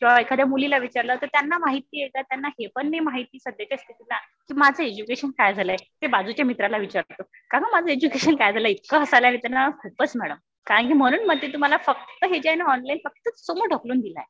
तर एखाद्या मुलीला विचारलं तर त्यांना माहितीये कि त्यांना हे पण नाही माहिती सध्याच्या स्थितीला कि माझं एज्युकेशन काय झालंय. ते बाजूच्या मित्राला विचारतात. का ग माझं एज्युकेशन काय झालंय. इतकं हसायला येत ना खूपच मॅडम. कारण कि म्हणून म्हणते तुम्हाला फक्त हे जे आहे ना ऑनलाईन फक्त समोर ढकलून दिलंय